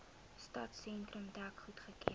stadsentrum dek goedgekeur